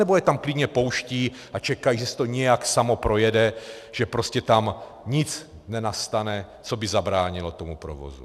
Nebo je tam klidně pouštějí a čekají, že se to nějak samo projede, že prostě tam nic nenastane, co by zabránilo tomu provozu?